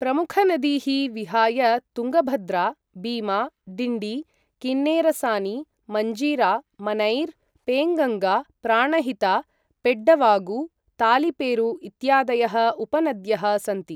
प्रमुखनदीः विहाय तुङ्गभद्रा, बीमा, डिण्डी, किन्नेरसानी, मञ्जीरा, मनैर, पेङ्गङ्गा, प्राणहिता, पेड्डवागु, तालिपेरु इत्यादयः उपनद्यः सन्ति।